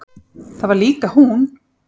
Það var líka hún.